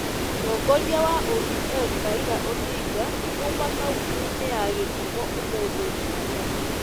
Mũtongoria wa ODM Raila Odinga auma kauntĩ-inĩ ya Gĩthumũ ũmũthĩ jumatatũ,